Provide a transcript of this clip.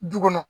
Du kɔnɔ